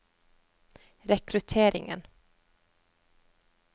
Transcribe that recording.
rekrutteringen